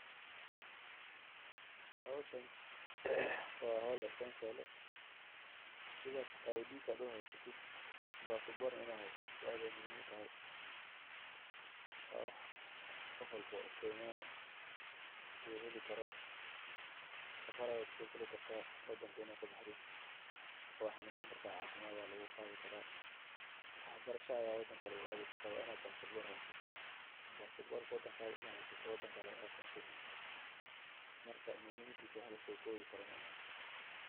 Howshan waa howl sida aad aqoonsi u haysato inaad haysato muhiim waye safar ayaa kusoo gali kartaa waad xanuunsan kartaa wax barasha ayaa aadi kartaa marka muhimaadiisa wax lasoo koobi karo maahan.